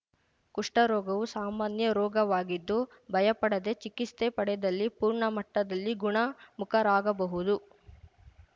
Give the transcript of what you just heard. ಕುಷ್ಠರೋಗವು ಸಾಮಾನ್ಯ ರೋಗವಾಗಿದ್ದು ಭಯಪಡದೆ ಚಿಕಿತ್ಸೆ ಪಡೆದಲ್ಲಿ ಪೂರ್ಣ ಮಟ್ಟದಲ್ಲಿ ಗುಣ ಮುಖರಾಗಬಹುದು